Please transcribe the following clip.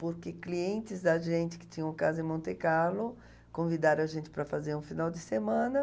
Porque clientes da gente, que tinham casa em Monte Carlo, convidaram a gente para fazer um final de semana.